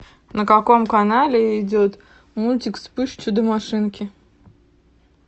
на каком канале идет мультик вспыш чудо машинки